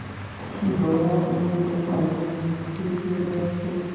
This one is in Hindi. इसी दौरान उन्हें एक अंग्रेज़ अधिकारी के घर से